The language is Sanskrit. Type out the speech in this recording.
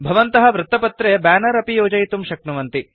भवन्तः वृत्तपत्रे ब्यानर अपि योजयितुं शक्नुवन्ति